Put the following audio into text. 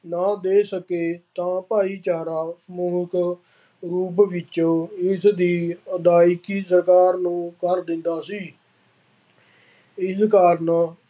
ਨਾ ਦੇ ਸਕੇ ਤਾਂ ਭਾਈਚਾਰਾ ਰੂਪ ਵਿੱਚ ਇਸਦੀ ਅਦਾਇਗੀ ਸਰਕਾਰ ਨੂੰ ਕਰ ਦਿੰਦਾ ਸੀ। ਇਸ ਕਾਰਨ